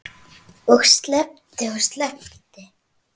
Og sleppt og sleppt.